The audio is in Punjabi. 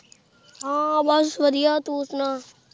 ਹਾਂ ਬਸ ਵਧੀਆ ਤੂੰ ਸੁਣਾ।